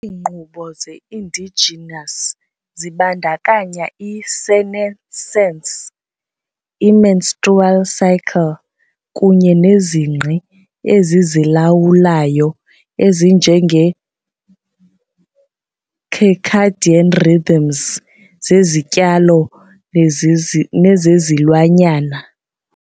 Iinkqubo ze-endogenous zibandakanya i-senescence, i-menstrual cycle kunye nezingqi ezizilawulayo ezinje ngeze-circadian rhythms zezityalo nezezilwanyana.